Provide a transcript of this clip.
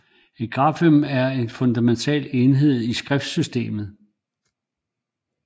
Et grafem er den fundamentale enhed i et skriftsystem